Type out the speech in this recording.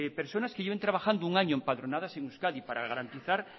personas que lleven trabajando un año empadronadas en euskadi para garantizar